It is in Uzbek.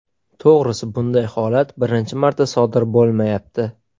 To‘g‘risi, bunday holat birinchi marta sodir bo‘lmayapti.